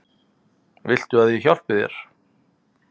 Viltu að ég hjálpi þér?